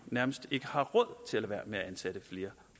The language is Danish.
nærmest ikke har råd til at lade være med at ansætte flere